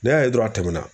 N'i y'a ye dɔrɔn a tɛmɛna